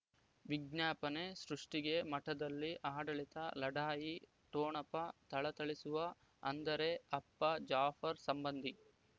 ವಿಜ್ಞಾಪನೆ ಸೃಷ್ಟಿಗೆ ಮಠದಲ್ಲಿ ಆಡಳಿತ ಲಢಾಯಿ ಠೊಣಪ ಥಳಥಳಿಸುವ ಅಂದರೆ ಅಪ್ಪ ಜಾಫರ್ ಸಂಬಂಧಿ